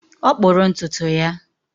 Ọ kpụrụ ntutu ya